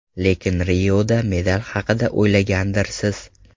Lekin Rioda medal haqida o‘ylagandirsiz?